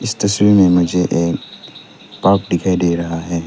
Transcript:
इस तस्वीर में मुझे एक बाग दिखाई दे रहा है।